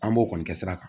An b'o kɔni kɛ sira kan